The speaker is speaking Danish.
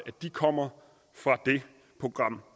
kommer fra det program